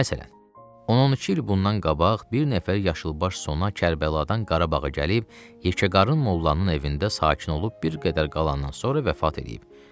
Məsələn, 12 il bundan qabaq bir nəfər yaşılbaş sona Kərbəladan Qarabağa gəlib yekəqarın mollanın evində sakit olub, bir qədər qalandan sonra vəfat eləyib.